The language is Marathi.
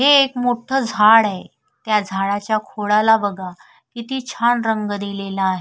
हे एक मोठ झाड आहे त्या झाडाच्या खोडा ला बघा किती छान रंग दिलेला आहे.